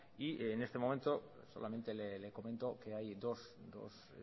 y en este momento solamente le comento que hay dos